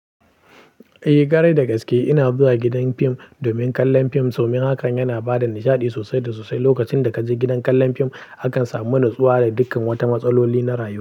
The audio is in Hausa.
Eh, garai da gaske ina zuwa gidan fim domin kallon fim, domin hakan yana bada nishaɗi sosai da sosai. Lokacin da kaje gidan kallon fim, akan samu natsuwa da dukkan wata matsaloli na rayuwa.